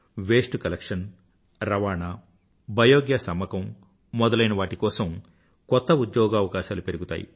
waste collection రవాణా biogas అమ్మకం మొదలైనవాటి కోసం కొత్త ఉద్యోగావకాశాలు పెరుగుతాయి